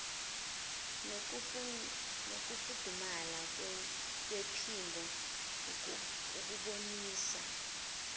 nokufudumala kwephimbo ukubonisa